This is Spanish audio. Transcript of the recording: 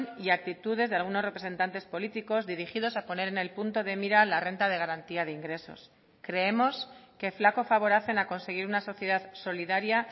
y actitudes de algunos representantes políticos dirigidos a poner en el punto de mira la renta de garantía de ingresos creemos que flaco favor hacen a conseguir una sociedad solidaria